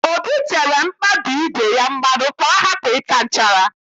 Obi tere mkpabi ígwè ya mmanụ ka ọ hapụ ịta nchara